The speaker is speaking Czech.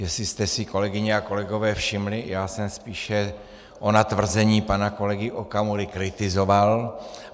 Jestli jste si, kolegyně a kolegové, všimli, já jsem spíše ona tvrzení pana kolegy Okamury kritizoval.